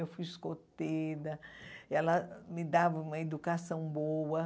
Eu fui escoteira, ela me dava uma educação boa.